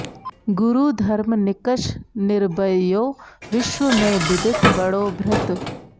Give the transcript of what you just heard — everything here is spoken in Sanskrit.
गुरु धर्म निकष निर्बह्यो विश्व में बिदित बड़ो भृत